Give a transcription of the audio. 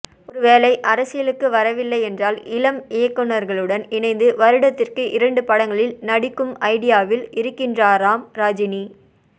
ஒருவேளை அரசியலுக்கு வரவில்லை என்றால் இளம் இயக்குனர்களுடன் இணைந்து வருடத்திற்கு இரண்டு படங்களில் நடிக்கும் ஐடியாவில் இருக்கின்றாராம் ரஜினி